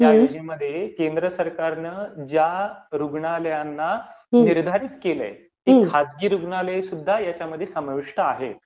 ह्या योजनेमध्ये केंद्र सरकारने ज्या रुग्णालयांना निर्धारित केलंय, ती खाजगी रुग्णालयेसुद्धा ह्यामध्ये समाविष्ट आहेत.